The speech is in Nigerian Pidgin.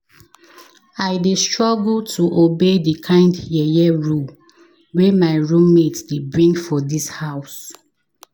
I dey struggle to obey di kind yeye rule wey my roommate dey bring for dis house.